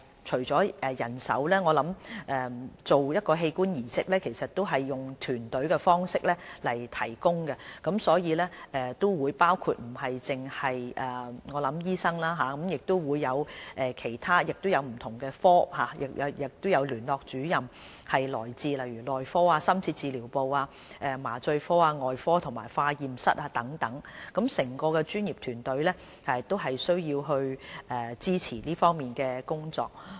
進行器官移植以團隊的方式提供，所以不僅包括醫生或器官移植聯絡主任，亦有不同專科的同事參與，他們來自內科、深切治療部、麻醉科、外科和化驗室等，整個專業團隊都需要支持這方面的工作。